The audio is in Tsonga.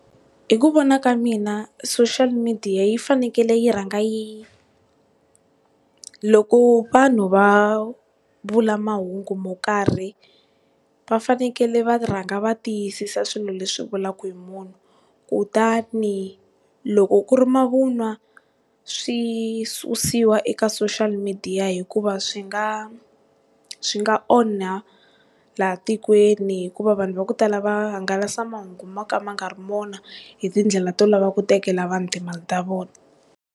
Hi ku vona ka mina social media yi fanekele yi rhanga yi loko vanhu va vula mahungu mo karhi va fanekele va rhanga va tiyisisa swilo leswi vulaka hi munhu, kutani loko ku ri mavun'wa swi susiwa eka social media hikuva swi nga, swi nga onha laha tikweni hikuva vanhu va ku tala va hangalasa mahungu mo ka ma nga ri wona hitindlela to lava ku tekela vanhu timali ta vona.